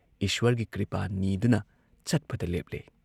ꯏꯁ꯭ꯋꯔꯒꯤ ꯀ꯭ꯔꯤꯄꯥ ꯅꯤꯗꯨꯅ ꯆꯠꯄꯗ ꯂꯦꯞꯂꯦ ꯫